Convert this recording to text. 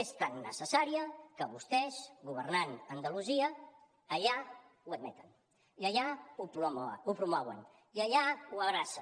és tan necessària que vostès governant a andalusia allà ho admeten i allà ho promouen i allà ho abracen